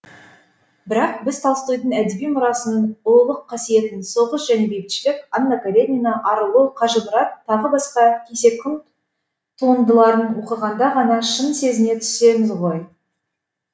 бірақ біз толстойдың әдеби мұрасының ұлылық қасиетін соғыс және бейбітшілік анна каренина арылу қажымұрат т б кесек туындыларын оқығанда ғана шын сезіне түсеміз ғой